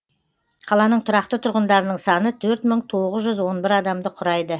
қаланың тұрақты тұрғындарының саны төрт мың тоғыз жүз он бір адамды құрайды